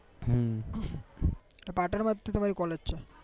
પાટણમાં જ તમારી કોલેજ છે